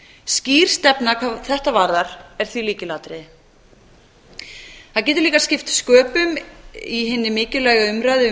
skýr stefna hvað þetta varðar er því lykilatriði það getur líka skipt sköpum í hinni mikilvægu umræðu um